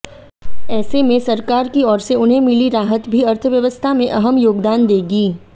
ऐसे में सरकार की ओर से उन्हें मिली राहत भी अर्थव्यवस्था में अहम योगदान देगी